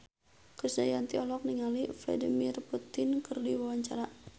Krisdayanti olohok ningali Vladimir Putin keur diwawancara